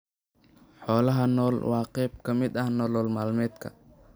Xoolaha nool waa qayb ka mid ah nolol maalmeedka.